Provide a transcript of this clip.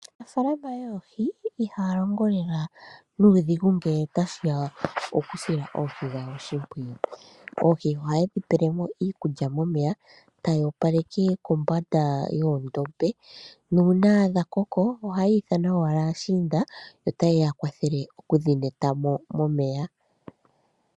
Aanafaalaama yoohi ihaya longo lela nuudhigu ngele otashi ya pokusila oohi dhawo oshimpwiyu. Ohaye dhi pele mo iikulya momeya, taya opaleke kombanda yoondombe nuuna dha koko ohaya ithana owala aashinda ye ya kwathela okudhi yula mo momeya.